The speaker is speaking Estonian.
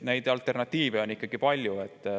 Alternatiive ikkagi on.